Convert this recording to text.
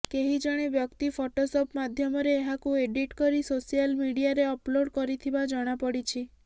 କେହି ଜଣେ ବକ୍ତି ଫଟୋସପ ମାଧ୍ୟମରେ ଏହାକୁ ଏଡ଼ିଟ କରି ସୋସିଆଲ ମିଡ଼ିଆରେ ଅପଲୋଡ଼ କରିଥିବା ଜଣାପଡ଼ିଛି